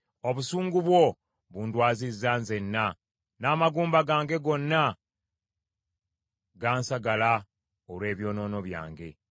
Obusungu bwo bundwazizza nzenna, n’amagumba gange gonna gansagala olw’ebyonoono byange.